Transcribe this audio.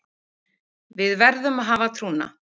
Við verðum að hafa trúna